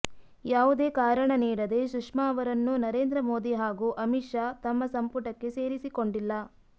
ಯಾವುದೇ ಕಾರಣ ನೀಡದೆ ಸುಷ್ಮಾ ಅವರನ್ನು ನರೇಂದ್ರ ಮೋದಿ ಹಾಗೂ ಅಮಿತ್ ಷಾ ತಮ್ಮ ಸಂಪುಟಕ್ಕೆ ಸೇರಿಸಿಕೊಂಡಿಲ್ಲ